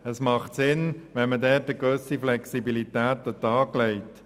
Es macht Sinn, dort eine gewisse Flexibilität zu zeigen.